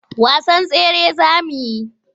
Wasan tsere za mu yi?